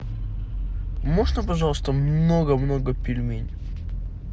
можно пожалуйста много много пельменей